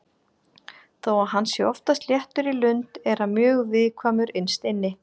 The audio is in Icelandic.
Þó að hann sé oftast léttur í lund er hann mjög viðkvæmur innst inni.